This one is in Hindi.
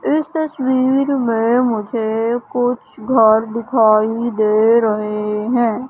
इस तस्वीर मे मुझे कुछ घर दिखाई दे रहे है।